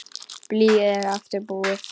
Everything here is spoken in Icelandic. Blýið er aftur búið.